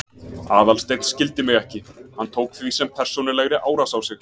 Aðalsteinn skildi mig ekki, hann tók því sem persónulegri árás á sig.